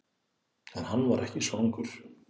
En hann var ekki svangur.